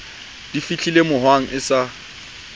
di fihlile mohwang e sa